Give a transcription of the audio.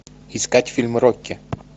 искать фильм рокки